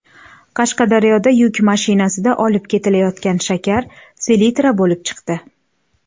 Qashqadaryoda yuk mashinasida olib ketilayotgan shakar selitra bo‘lib chiqdi.